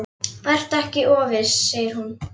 Vertu ekki of viss, segir hún.